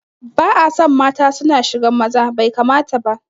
Ba'aso mata suna shigan maza, bai kamata ba